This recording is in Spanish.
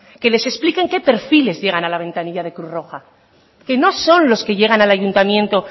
que se les expliquen qué perfiles llegan a la ventanilla de la cruz roja que no son los que llegan al ayuntamiento